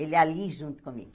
Ele ali junto comigo.